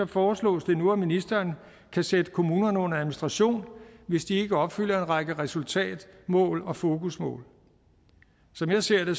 foreslås det nu at ministeren kan sætte kommunerne under administration hvis de ikke opfylder en række resultatmål og fokusmål som jeg ser det